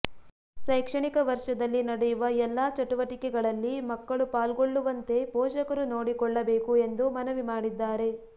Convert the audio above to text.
ಶೈಕ್ಷಣಿಕ ವರ್ಷದಲ್ಲಿ ನಡೆಯುವ ಎಲ್ಲ ಚಟುವಟಿಕೆಗಳಲ್ಲಿ ಮಕ್ಕಳು ಪಾಲ್ಗೊಳ್ಳುವಂತೆ ಪೋಷಕರು ನೋಡಿಕೊಳ್ಳಬೇಕು ಎಂದು ಮನವಿ ಮಾಡಿದ್ದಾರೆ